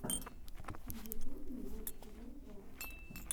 в ютубе борщ тв трек